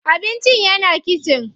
Abincin yana kitchen.